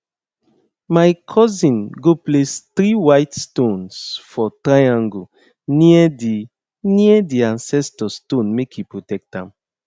my cousin go place three white stones for triangle near the near the ancestor stone make e protect am